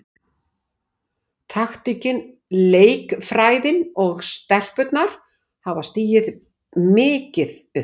Taktíkin, leikfræðin og stelpurnar hafa stigið mikið upp.